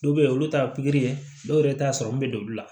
Dɔw bɛ yen olu ta ye pikiri ye dɔw yɛrɛ t'a sɔrɔ min bɛ don olu la